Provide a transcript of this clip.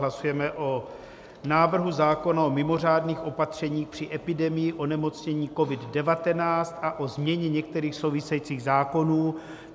Hlasujeme o návrhu zákona o mimořádných opatřeních při epidemii onemocnění COVID-19 a o změně některých souvisejících zákonů.